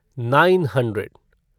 nine hundred